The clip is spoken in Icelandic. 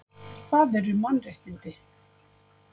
Hvað eru mannréttindi?